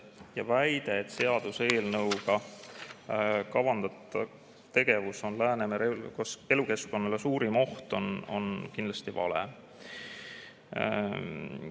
Ja väide, et seaduseelnõuga kavandatud tegevus on Läänemere elukeskkonnale suurim oht, on kindlasti vale.